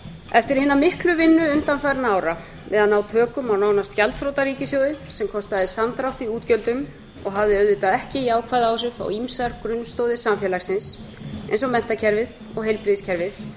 eftir hina miklu vinnu undanfarinna ára við að ná tökum á nánast gjaldþrota ríkissjóði sem kostaði samdrátt í útgjöldum og hafði auðvitað ekki jákvæð áhrif á ýmsar grunnstoðir samfélagsins eins og menntakerfið og heilbrigðiskerfið